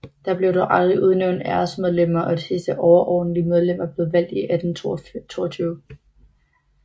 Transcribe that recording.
Der blev dog aldrig udnævnt æresmedlemmer og det sidste overordentlige medlem var blevet valgt i 1822